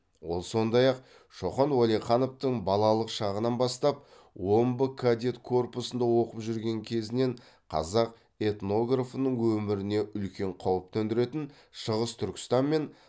ол сондай ақ шоқан уәлихановтың балалық шағынан бастап омбы кадет корпусында оқып жүрген кезінен қазақ этнографының өміріне үлкен қауіп төндіретін шығыс түркістан мен